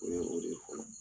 O ye o de fɔlɔ